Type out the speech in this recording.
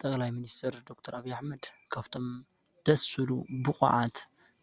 ጠቅላይ ሚኒስተር ዶክተር ኣቢይ ኣሕመድ ካብቶም ደስ ዝብሉ ብቁዓት